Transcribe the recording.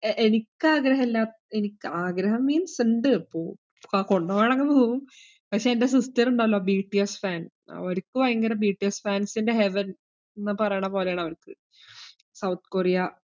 A~ എനിക്ക് ആഗ്രഹില്ല, എനിക്ക് ആഗ്രഹം means ഇണ്ട്. പോ~ പ~ കൊണ്ടോവാണെങ്കിലൊന്നു പോവും. പക്ഷേ എൻ്റെ sister ഇണ്ടല്ലോ BTSfan അവരിക്ക് ഭയങ്കര BTSfans ഇൻറെ heaven ന്ന് പറേണ പോലെയാണ്‌ അവൾക്ക് സൗത്ത് കൊറിയ.